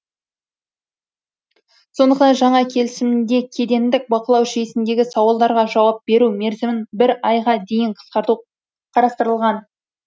сондықтан жаңа келісімде кедендік бақылау жүйесіндегі сауалдарға жауап беру мерзімін бір айға дейін қысқарту қарастырылған